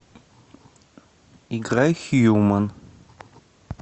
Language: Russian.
играй хьюман